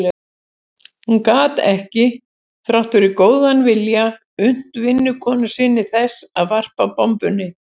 Hún gat ekki, þrátt fyrir góðan vilja, unnt vinnukonu sinni þess að varpa bombunni.